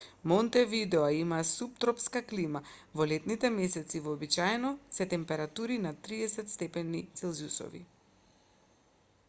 монтевидео има суптропска клима во летните месеци вообичаени се температури над +30 степени целзиусови